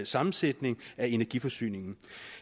sammensætning af energiforsyningen